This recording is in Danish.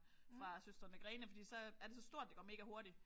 Fra Søstrene Grene. Fordi så er det så stort det går megahurtigt